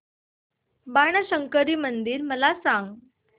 बाणशंकरी मंदिर मला सांग